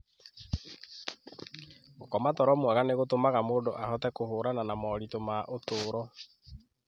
Gũkoma toro mwega nĩ gũtũmaga mũndũ ahote kũhũrana na moritũ ma ũtũũro.